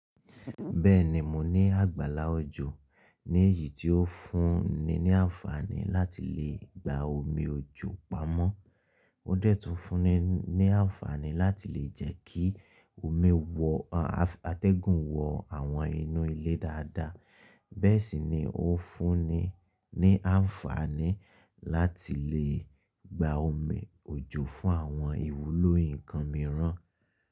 Bẹ́ẹ̀ni, mo ní àgbàlá òjò ní èyí tí ó fúnni ní àǹfààní láti lè gba omi òjò pamọ́. Ó dẹ́tùú fúnni ní àǹfààní láti lè jẹ́ kí omi wọ, àtẹ́gùn wọ àwọn inú ilé dáadáa. Bẹ́ẹ̀ sì ni ó fúnni ní àǹfààní láti lè gba omi òjò fún àwọn ìwúlò nǹkan mìíràn.